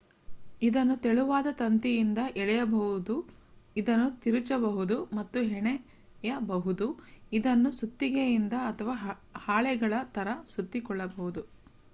ಇದನ್ನು ತೆಳುವಾದ ತಂತಿಯಿಂದ ಎಳೆಯಬಹುದು ಅದನ್ನು ತಿರುಚಬಹುದು ಮತ್ತು ಹೆಣೆಯಬಹುದು ಇದನ್ನು ಸುತ್ತಿಗೆಯಿಂದ ಅಥವಾ ಹಾಳೆಗಳ ತರ ಸುತ್ತಿಕೊಳ್ಳಬಹುದು